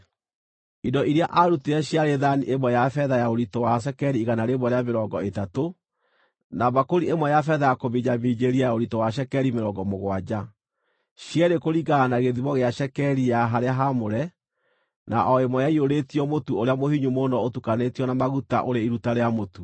Indo iria aarutire ciarĩ thaani ĩmwe ya betha ya ũritũ wa cekeri igana rĩmwe rĩa mĩrongo ĩtatũ, na mbakũri ĩmwe ya betha ya kũminjaminjĩria ya ũritũ wa cekeri mĩrongo mũgwanja, cierĩ kũringana na gĩthimo gĩa cekeri ya harĩa haamũre, na o ĩmwe yaiyũrĩtio mũtu ũrĩa mũhinyu mũno ũtukanĩtio na maguta, ũrĩ iruta rĩa mũtu;